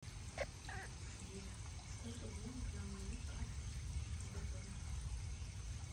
сбер сколько денег на моей карте сбербанк